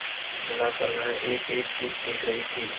कुल मिलाकर वह एकएक चीज सीख रही थी